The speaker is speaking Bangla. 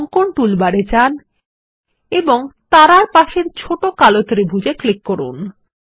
অঙ্কন টুলবারে যান এবং তারা এর পাশের ছোট কালো ত্রিভুজ এ ক্লিক করুন